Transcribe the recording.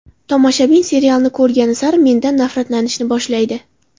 Tomoshabin serialni ko‘rgani sari mendan nafratlanishni boshlaydi.